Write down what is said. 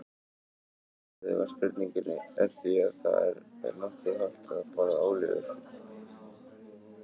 Svarið við spurningunni er því að það er nokkuð hollt að borða ólívur og möndlur.